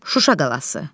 Şuşa qalası.